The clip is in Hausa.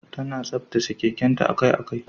Tana tsaftace keken ta akai-akai.